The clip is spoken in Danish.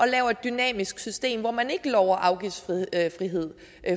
laver et dynamisk system hvor man ikke lover afgiftsfrihed